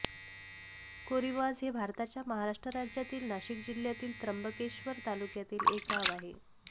कोरीवाझ हे भारताच्या महाराष्ट्र राज्यातील नाशिक जिल्ह्यातील त्र्यंबकेश्वर तालुक्यातील एक गाव आहे